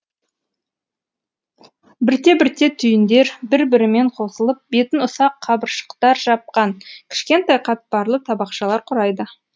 бірте бірте түйіндер бір бірімен қосылып бетін ұсақ қабыршақтар жапқан кішкентай қатпарлы табақшалар құрайды